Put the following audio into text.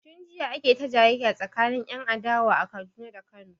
Tun jiya ake ta jayayya tsakanin 'yan adawa a Kaduna da 'yan Kano.